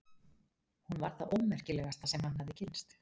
Hún var það ómerkilegasta sem hann hafði kynnst.